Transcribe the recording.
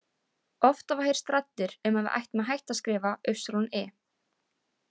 Oft hafa heyrst raddir um að við ættum að hætta að skrifa y.